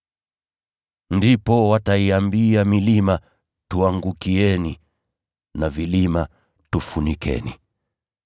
Ndipo “ ‘wataiambia milima, “Tuangukieni!” na vilima, “Tufunikeni!” ’